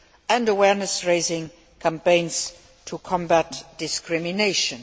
and awareness raising campaigns to combat discrimination.